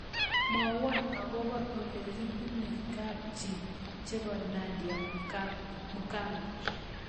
Mwawon agoboo olegibunuu kabchii chebo Nadia Mukami